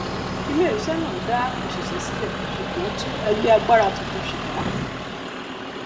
iléiṣẹ náà dá òṣìṣẹ sílẹ ṣùgbọn tún ẹgbẹ agbára tuntun ṣẹdá